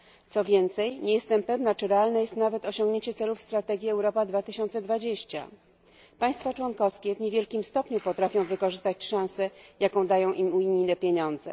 Co więcej nie jestem pewna, czy realne jest nawet osiągnięcie celów strategii Europa 2020. Państwa członkowskie w niewielkim stopniu potrafią wykorzystać szansę, jaka dają im unijne pieniądze.